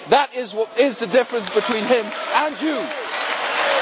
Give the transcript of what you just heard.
That is the difference between him and you,